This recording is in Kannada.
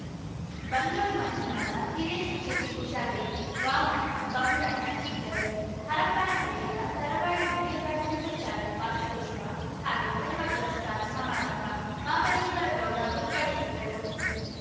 ಬಂದೋಳು ಮಂಜುನಾಥ ಹಿರಿಯ ಶಿಕ್ಷಕಿ ಉಷಾದೇವಿ ವಾಮಣ್ಣ ಭರ್ಮಣ್ಣ ಇದ್ದರು ಹರಪ್ಪನಹಳ್ಳಿಯ ತರಳಬಾಳು ಹಿರಿಯ ಪ್ರಾಥಮಿಕ ಶಾಲೆ ವಾರ್ಷಿಕೋತ್ಸವ ಹಾಗೂ ಪ್ರತಿಭಾ ಪುರಸ್ಕಾರ ಸಮಾರಂಭ ಮಹಾಬಲೇಶ್ವರಗೌಡ ಉದ್ಘಾಟಿಸಿದರು